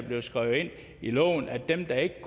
blevet skrevet ind i loven at dem der ikke